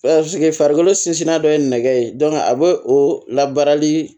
farikolo sinsinna dɔ ye nɛgɛ ye a bɛ o labarali